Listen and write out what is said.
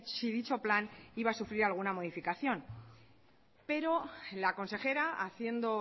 si dicho plan iba a sufrir alguna modificación pero la consejera haciendo